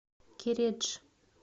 кередж